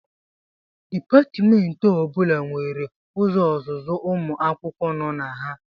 Dipatmentị ọ bụla nwere ụzọ ọzụzụ ụmụ akwụkwọ nọ na ha